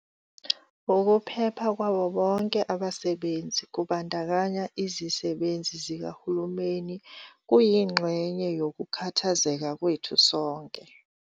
"Ukuphepha kwabo bonke abasebenzi, kubandakanya izisebenzi zikahulumeni, kuyingxenye yokukhathazeka kwethu sonke."